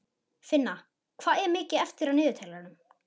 Finna, hvað er mikið eftir af niðurteljaranum?